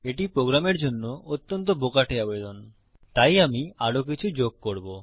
এটি প্রোগ্রামের জন্য অত্যন্ত বোকাটে আবেদন এপ্লিকেশন তাই আমি আরো কিছু যোগ করব